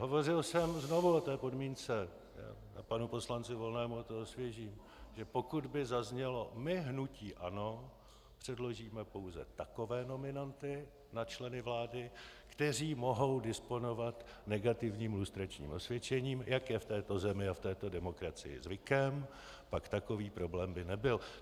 Hovořil jsem znovu o té podmínce a panu poslanci Volnému to osvěžím, že pokud by zaznělo: My, hnutí ANO, předložíme pouze takové nominanty na členy vlády, kteří mohou disponovat negativním lustračním osvědčením, jak je v této zemi a v této demokracii zvykem, pak takový problém by nebyl.